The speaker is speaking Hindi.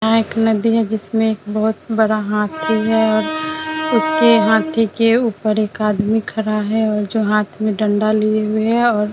यहाँ एक नदी है। जिसमें बोहोत बड़ा हाथी है और उसके हाथी के ऊपर एक आदमी खड़ा है जो हाथ में डंडा लिए हुए हैं और --